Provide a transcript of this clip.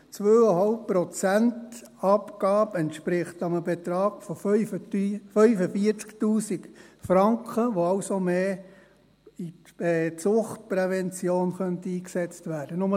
Eine 2,5-Prozent-Abgabe entspricht einem Betrag von 45’000 Franken, der also mehr in der Suchtprävention eingesetzt werden könnte.